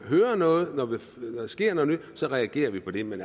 hører noget når der sker noget nyt så reagerer vi på det men